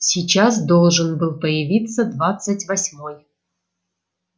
сейчас должен был появиться двадцать восьмой